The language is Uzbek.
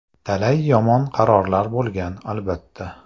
Talay yomon qarorlar bo‘lgan, albatta.